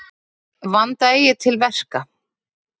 Vanda eigi til verka.